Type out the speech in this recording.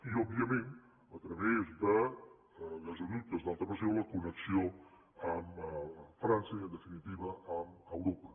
i òbviament a través de gasoductes d’alta pressió la connexió amb frança i en definitiva amb europa